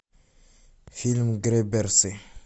фильм грэбберсы